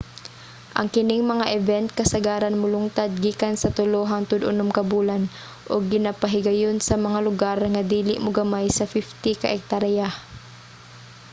ang kining mga event kasagaran molungtad gikan sa tulo hangtod unom ka bulan ug ginapahigayon sa mga lugar nga dili mogamay sa 50 ka ektarya